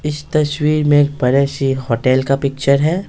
इस तश्वीर में एक बड़े सी होटेल का पिक्चर है।